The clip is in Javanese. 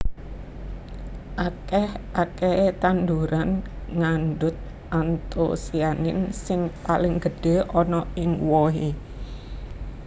Akèh akèhé tanduran ngandhut antosianin sing paling gedhé ana ing wohé